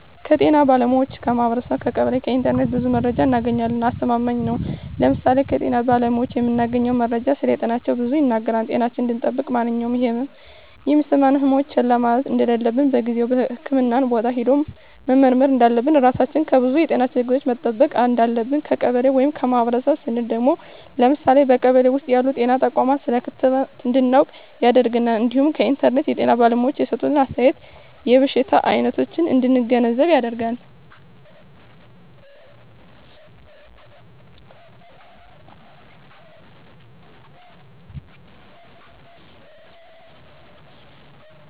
ከጤና ባለሙያዎች ,ከማህበረሰቡ , ከቀበሌ ,ከኢንተርኔት ብዙ መረጃ እናገኛለን። አስተማማኝ ነው ለምሳሌ ከጤና ባለሙያዎች የምናገኘው መረጃ ስለጤናችን ብዙ ይናገራል ጤናችን እንድጠብቅ ማንኛውም የህመም የሚሰማን ህመሞች ችላ ማለት እንደለለብን በጊዜው ህክምህና ቦታ ሄደን መመርመር እንዳለብን, ራሳችን ከብዙ የጤና ችግሮች መጠበቅ እንዳለብን። ከቀበሌ ወይም ከማህበረሰቡ ስንል ደግሞ ለምሳሌ በቀበሌ ውስጥ ያሉ ጤና ተቋማት ስለ ክትባት እንድናውቅ ያደርገናል እንዲሁም ከኢንተርኔት የጤና ባለሙያዎች የሰጡትን አስተያየት የበሽታ አይነቶች እንድንገነዘብ ያደርጋል።